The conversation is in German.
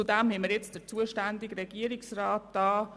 Zudem ist der zuständige Regierungsrat anwesend.